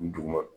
N duguma